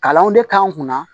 Kalanw de k'an kunna